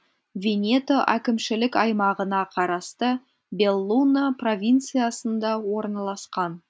венето әкімшілік аймағына қарасты беллуно провинциясында орналасқан